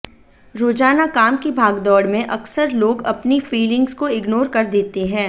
रोजाना काम की भागदौड़ में अक्सर लोग अपनी फीलिंग्स को इग्नोर कर देते हैं